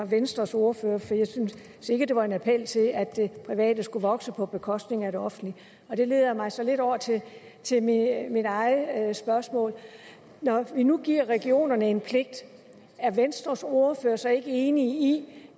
venstres ordfører for jeg synes ikke det var en appel til at det private skulle vokse på bekostning af det offentlige det leder mig så lidt over til mit eget spørgsmål når vi nu giver regionerne en pligt er venstres ordfører så ikke enig